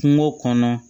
Kungo kɔnɔ